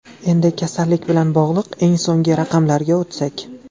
Endi kasallik bilan bog‘liq eng so‘nggi raqamlarga o‘tsak.